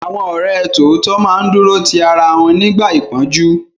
Àwọn ọ̀rẹ́ tòótọ́ máa ń dúró ti ara wọn nígbà ìpọ́njú